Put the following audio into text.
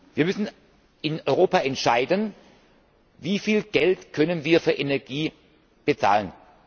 Wir müssen in Europa entscheiden Wie viel Geld können wir für Energie bezahlen?